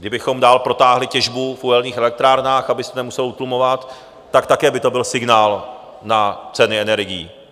Kdybychom dál protáhli těžbu v uhelných elektrárnách, aby se nemuselo utlumovat, tak také by to byl signál na ceny energií.